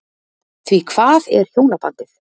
Því hvað er hjónabandið?